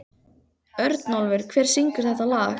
Örnólfur, hver syngur þetta lag?